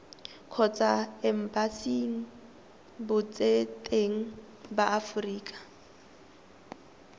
kgotsa embasing botseteng ba aforika